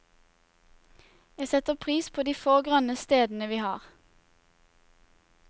Jeg setter pris på de få grønne stedene vi har.